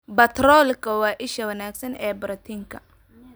Baatroolka waa isha wanaagsan ee borotiinka.